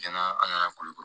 Cɛnna an nana kulukoro